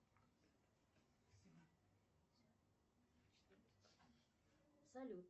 салют